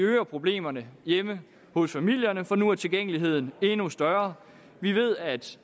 øger problemerne hjemme hos familierne for nu er tilgængeligheden endnu større vi ved at